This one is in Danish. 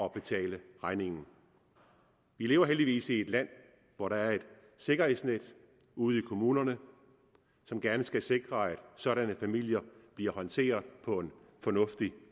at betale regningen vi lever heldigvis i et land hvor der er et sikkerhedsnet ude i kommunerne som gerne skal sikre at sådanne familier bliver håndteret på en fornuftig